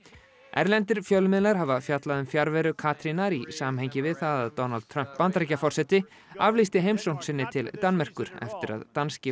erlendir fjölmiðlar hafa fjallað um fjarveru Katrínar í samhengi við það að Donald Trump Bandaríkjaforseti aflýsti heimsókn sinni til Danmerkur eftir að danski